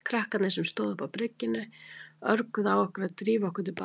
Krakkarnir sem stóðu uppi á bryggjunni örguðu á okkur að drífa okkur til baka.